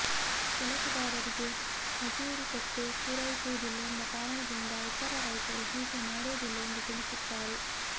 ಕೆಲಸಗಾರರಿಗೆ ಮಜೂರಿ ಕೊಟ್ಟು ಪೂರೈಸುವುದಿಲ್ಲ ಎಂಬ ಕಾರಣದಿಂದ ಇತರ ರೈತರು ಹೀಗೆ ಮಾಡೋದಿಲ್ಲ ಎಂದು ತಿಳಿಸುತ್ತಾರೆ